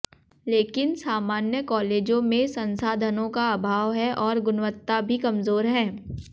लेकिन सामान्य कालेजों में संसाधनों का अभाव है और गुणवत्ता भी कमजोर है